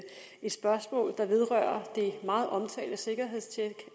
jeg spørgsmål der vedrører det meget omtalte sikkerhedstjek af